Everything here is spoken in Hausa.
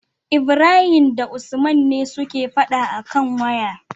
Ibrahim da usman ne suke faɗa akan waya